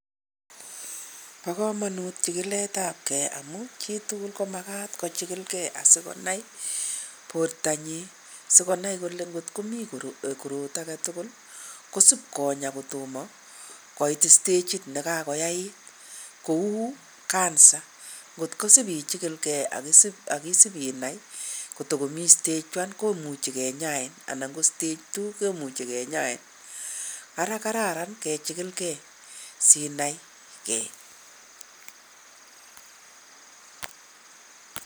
Bo komonut chikiletabkei amu chitugul komagaat kochikilkei asikonai bortanyin. Sikonai kole ngot komi korot age tugul, kosibkonyaa kotomo koit stagit nekakoyait. Kou cancer, kotkosip ichikilkei ak isipinai kotagomi stage one komuchi kenyain ana ko stage two kemuchi kenyain. Ara kararan kechikilkei sinaigee.